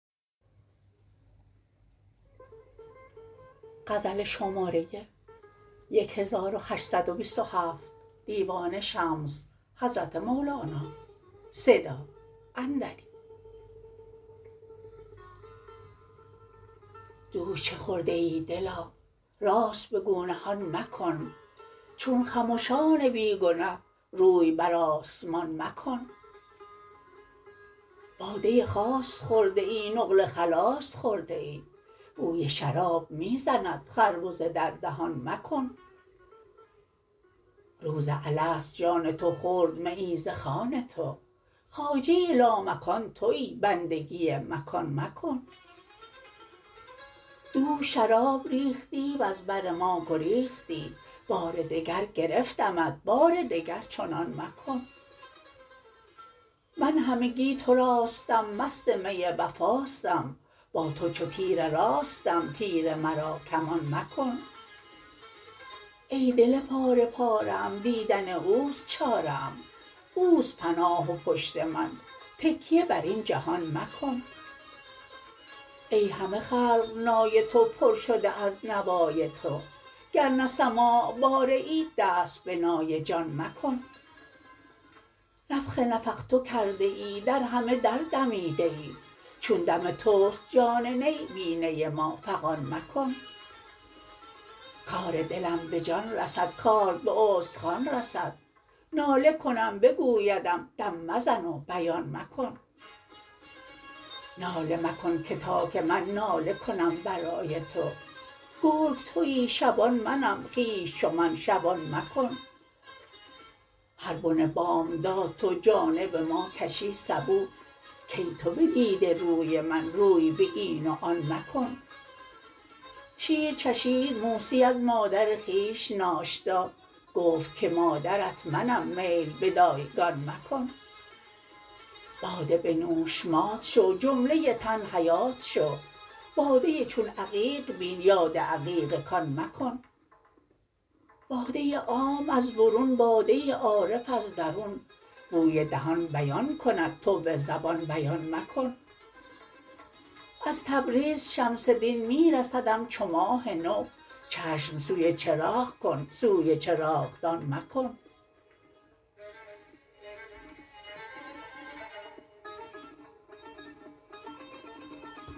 دوش چه خورده ای دلا راست بگو نهان مکن چون خمشان بی گنه روی بر آسمان مکن باده خاص خورده ای نقل خلاص خورده ای بوی شراب می زند خربزه در دهان مکن روز الست جان تو خورد میی ز خوان تو خواجه لامکان تویی بندگی مکان مکن دوش شراب ریختی وز بر ما گریختی بار دگر گرفتمت بار دگر چنان مکن من همگی تراستم مست می وفاستم با تو چو تیر راستم تیر مرا کمان مکن ای دل پاره پاره ام دیدن اوست چاره ام اوست پناه و پشت من تکیه بر این جهان مکن ای همه خلق نای تو پر شده از نوای تو گر نه سماع باره ای دست به نای جان مکن نفخ نفخت کرده ای در همه در دمیده ای چون دم توست جان نی بی نی ما فغان مکن کار دلم به جان رسد کارد به استخوان رسد ناله کنم بگویدم دم مزن و بیان مکن ناله مکن که تا که من ناله کنم برای تو گرگ تویی شبان منم خویش چو من شبان مکن هر بن بامداد تو جانب ما کشی سبو کای تو بدیده روی من روی به این و آن مکن شیر چشید موسی از مادر خویش ناشتا گفت که مادرت منم میل به دایگان مکن باده بنوش مات شو جمله تن حیات شو باده چون عقیق بین یاد عقیق کان مکن باده عام از برون باده عارف از درون بوی دهان بیان کند تو به زبان بیان مکن از تبریز شمس دین می رسدم چو ماه نو چشم سوی چراغ کن سوی چراغدان مکن